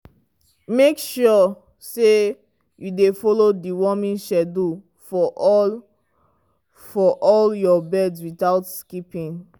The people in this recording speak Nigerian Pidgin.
make sure say you dey follow deworming schedule for all for all your birds without skipping.